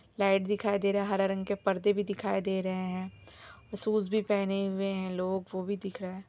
Light दिखाई दे रहा है हरे रंग के पर्दे भी दिखाई दे रहे है शूज भी पहने हुए है लोग वो भी दिख रहा है।